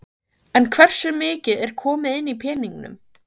En hversu mikið er komið inn í peningum?